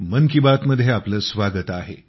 मन की बात मध्ये आपले स्वागत आहे